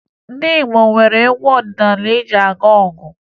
Ndị Igbo nwere egwu ọdịnaala eji aga ọgụ